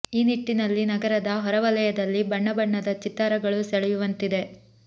ಈ ನಿಟ್ಟಿನಲ್ಲಿ ನಗರದ ಹೊರ ವಲಯದಲ್ಲಿ ಬಣ್ಣ ಬಣ್ಣದ ಚಿತ್ತಾರಗಳು ಸೆಳೆಯುವಂತಿದೆ